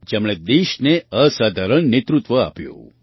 જેમણે દેશને અસાધારણ નેતૃત્વ આપ્યું